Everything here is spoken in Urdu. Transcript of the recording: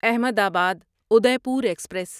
احمد آباد ادے پور ایکسپریس